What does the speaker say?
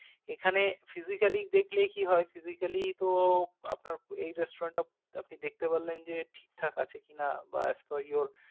এখানে physically দেখলে কি হয় physically তো আপনার এই restaurant টা আপনি দেখতে পারলেন যে ঠিক ঠাক আছে কি না। বা as per your